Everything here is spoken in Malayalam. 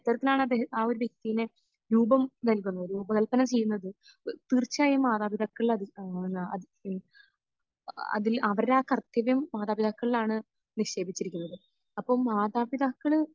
ഇത്തരത്തിലാണ് ആ ഒരു വ്യക്തിയെ രൂപം നൽകുന്നത് രൂപകല്പന ചെയ്യുന്നത്. തീർച്ചയായും മാതാപിതാക്കൾ അത് ഏഹ് അതിൽ അതിൽ അവർ ആ കർത്തവ്യം മാതാപിതാക്കളിലാണ് നിക്ഷേപിച്ചിരിക്കുന്നത്. അപ്പോൾ മാതാപിതാക്കൾ